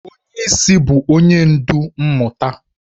Onye isi bụ onye ndu mmụta.